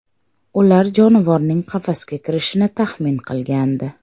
Ular jonivorning qafasga kirishini taxmin qilgandi.